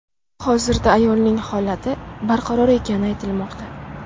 Hozirda ayolning holati barqaror ekani aytilmoqda.